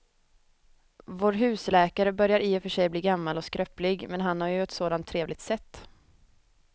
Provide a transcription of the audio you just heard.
Vår husläkare börjar i och för sig bli gammal och skröplig, men han har ju ett sådant trevligt sätt!